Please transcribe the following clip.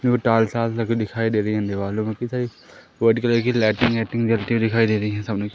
जो tiles walls लगे दिखाई दे रही देवालों में। व्हाइट कलर कि लाइटिंग वाईटिंग जलती हुई दिखाई दे रही सामने--